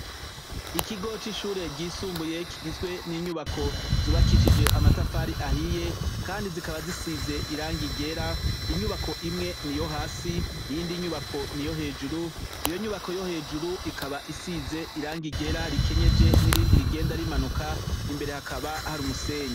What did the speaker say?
Ikigo cishure ry'isumbuye kigizwe n.inyubako zubakishijwe amatafari ahiye kandi zikaba zisize irangi ryera inyubako imwe niyo hasi iyindi nyubako niyo hejuru, iyo nyubako yo hejuru isize irangi ryera rikenyeje nirindi rigenda rimanuka mbere hakaba hari umusenyi